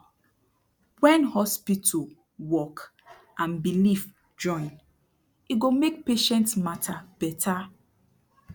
wen hospital work and belief join e go make patient mata beta